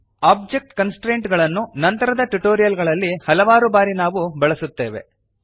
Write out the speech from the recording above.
object constraint ಗಳನ್ನು ನಂತರದ tutorial ಗಳಲ್ಲಿ ಹಲವಾರು ಬಾರಿ ನಾವು ಬಳಸುತ್ತೇವೆ